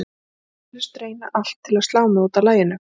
Hann myndi eflaust reyna allt til að slá mig út af laginu.